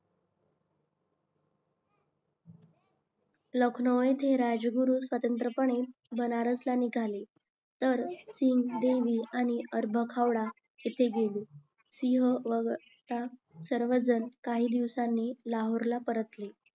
लखनौ येथे राजगुरू स्वतंत्र बनारस ला निघाले तर सिंग देवी आणि हावडा येथे गेले, सिंग वगळता सर्व जन काही दिवसांनी लाहोरला परतले